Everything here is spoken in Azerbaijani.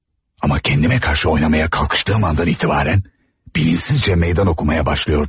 Amma kəndimə qarşı oynamaya kalkıştığım andan etibarən, bilinçsizcə meydan oxumaya başlayırdım.